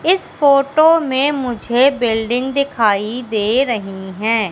इस फोटो में मुझे बिल्डिंग दिखाई दे रही हैं।